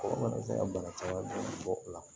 Mɔgɔ mana se ka bana caman bɔ o la